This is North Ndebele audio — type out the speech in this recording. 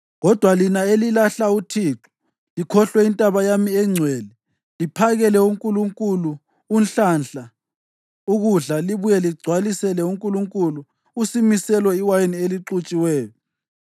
Kodwa lina elilahla uThixo likhohlwe intaba yami engcwele; liphakele unkulunkulu uNhlanhla ukudla libuye ligcwalisele unkulunkulu uSimiselo iwayini elixutshiweyo,